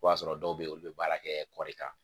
O y'a sɔrɔ dɔw bɛ yen olu bɛ baara kɛ kɔɔri kan